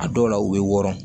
A dɔw la u bɛ wɔɔrɔ